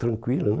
Tranquilo, né?